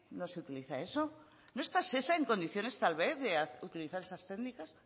no se utiliza eso no está shesa en condiciones tal vez de utilizar esas técnicas